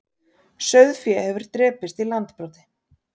Sauðfé hefur drepist í Landbroti